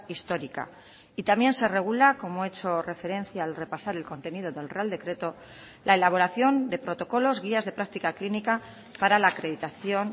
histórica y también se regula como he hecho referencia al repasar el contenido del real decreto la elaboración de protocolos guías de práctica clínica para la acreditación